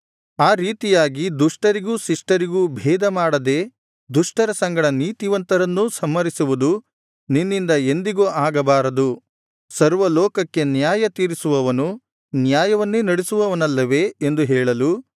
ಆ ರೀತಿಯಾಗಿ ದುಷ್ಟರಿಗೂ ಶಿಷ್ಟರಿಗೂ ಭೇದ ಮಾಡದೆ ದುಷ್ಟರ ಸಂಗಡ ನೀತಿವಂತರನ್ನೂ ಸಂಹರಿಸುವುದು ನಿನ್ನಿಂದ ಎಂದಿಗೂ ಆಗಬಾರದು ಸರ್ವಲೋಕಕ್ಕೆ ನ್ಯಾಯತೀರಿಸುವವನು ನ್ಯಾಯವನ್ನೇ ನಡಿಸುವನಲ್ಲವೇ ಎಂದು ಹೇಳಲು